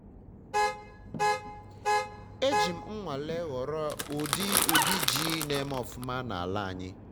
eji m nnwale họrọ udi udi ji na eme ọfụma na ala anyị